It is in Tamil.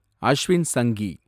அஷ்வின் சங்கி